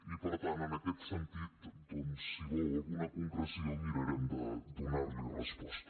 i per tant en aquest sentit si vol alguna concreció mirarem de donarhi resposta